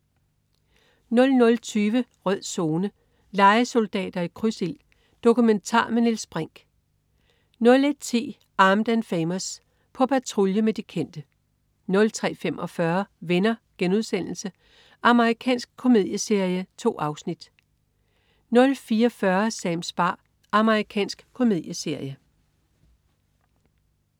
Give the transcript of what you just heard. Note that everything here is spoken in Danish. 00.20 Rød Zone: Lejesoldater i krydsild. Dokumentar med Niels Brinch 01.10 Armed & Famous. På patrulje med de kendte 03.45 Venner.* Amerikansk komedieserie. 2 afsnit 04.40 Sams bar. Amerikansk komedieserie